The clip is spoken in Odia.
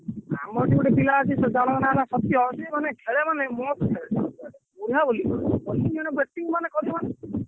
ଆମରି ବି ଗୋଟେ ପିଲା ଅଛି ଜଣଙ୍କ ନା ହେଲା ସତ୍ୟ ସିଏ ମାନେ ଖେଳେ ମାନେ ମସ୍ତ ଖେଳେ ପୁରା ଓଳେଇବ କରୁଥିବ batting ମାନେ କରିବ ମାନେ।